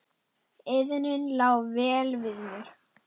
Iðnin lá vel við mér.